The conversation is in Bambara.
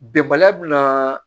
Bɛnbaliya bɛ na